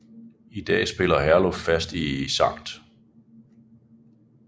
I dag spiller Herluf fast i Sct